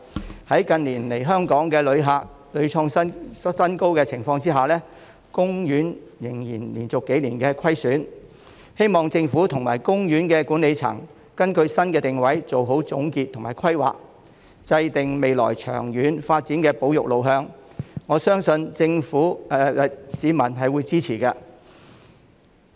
即使近年訪港旅客人次屢創新高，但海洋公園仍然連續數年錄得虧損，希望政府和海洋公園管理層根據新的定位做好總結和規劃，制訂未來長遠發展的保育路向，我相信市民是會支持的。